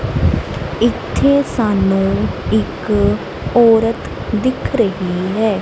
ਇੱਥੇ ਸਾਨੂੰ ਇੱਕ ਔਰਤ ਦਿਖ ਰਹੀ ਹੈ।